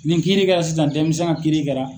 Nin kiiri kɛra sisan, demisɛn ka kiiri kɛra.